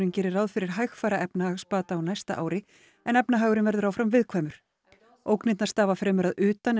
gerir ráð fyrir hægfara efnahagsbata á næsta ári en efnahagurinn verður áfram viðkvæmur ógnirnar stafi fremur að utan en